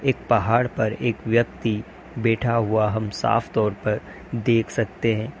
एक पहाड़ पर एक व्यक्ति बैठा हुआ हम साफ तौर पर देख सकते हैं।